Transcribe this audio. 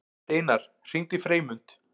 Steinar, hringdu í Freymund.